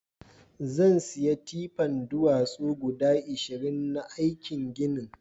zansiya tipan duwatsu guda ashirin na aikin ginin